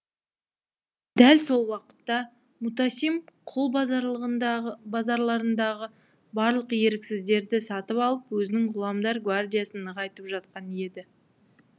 дәл сол уақытта мутасим құл базарларындағы барлық еріксіздерді сатып алып өзінің ғұламдар гвардиясын нығайтып жатқан еді